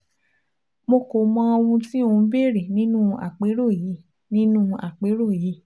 Mo kò mọ ohun tí o ń béèrè nínú àpérò yìí nínú àpérò yìí